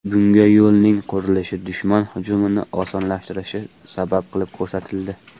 Bunga yo‘lning qurilishi dushman hujumini osonlashtirishi sabab qilib ko‘rsatildi.